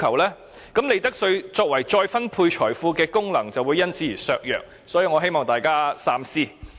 這樣利得稅再分配財富的功能便會因而削弱，所以我希望大家三思。